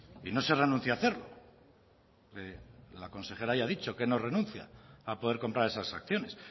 y no se renuncia a hacerlo la consejera ya ha dicho que no renuncia a poder comprar esas acciones